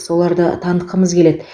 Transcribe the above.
соларды танытқымыз келеді